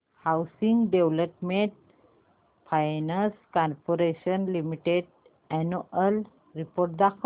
housing development finance corporation limited annual report दाखव